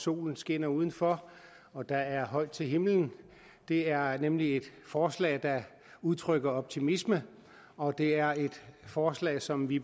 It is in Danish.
solen skinner udenfor og der er højt til himlen det er nemlig et forslag der udtrykker optimisme og det er et forslag som vi